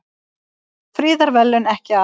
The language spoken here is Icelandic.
Friðarverðlaun ekki afhent